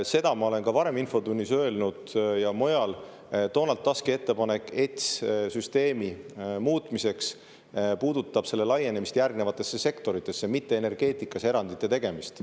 Seda ma olen ka varem infotunnis ja mujal öelnud, et Donald Tuski ettepanek ETS-süsteemi muutmiseks puudutab selle laienemist järgmistesse sektoritesse, mitte energeetikas erandite tegemist.